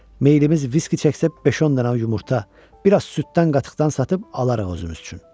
Meylimiz viski çəksə beş-10 dənə yumurta, bir az süddən qatıqdan satıb alarıq özümüz üçün.